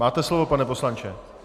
Máte slovo, pane poslanče.